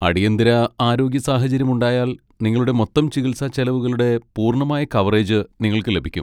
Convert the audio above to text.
അടിയന്തിര ആരോഗ്യ സാഹചര്യം ഉണ്ടായാൽ, നിങ്ങളുടെ മൊത്തം ചികിത്സാ ചെലവുകളുടെ പൂർണ്ണമായ കവറേജ് നിങ്ങൾക്ക് ലഭിക്കും.